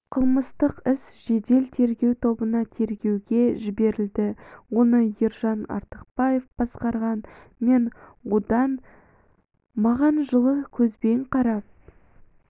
қылмыстық іс жедел-тергеу тобына тергеуге жіберілді оны ержан артықбаев басқарған мен одан маған жылы көзбен қарап